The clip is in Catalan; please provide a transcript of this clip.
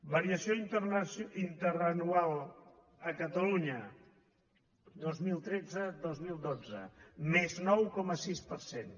variació interanual a catalunya dos mil tretzedos mil dotze més nou coma sis per cent